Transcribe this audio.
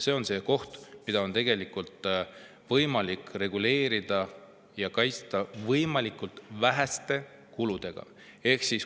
See on koht, mida on võimalik reguleerida ja meie lapsi kaitsta väheste kuludega.